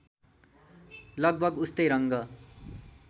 लगभग उस्तै रङ्ग